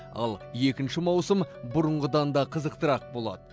ал екінші маусым бұрынғыдан да қызықтырақ болады